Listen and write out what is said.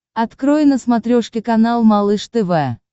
открой на смотрешке канал малыш тв